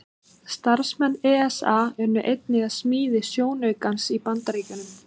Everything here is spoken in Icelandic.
Starfsmenn ESA unnu einnig að smíði sjónaukans í Bandaríkjunum.